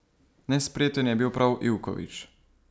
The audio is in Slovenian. Nespreten je bil prav Ivković.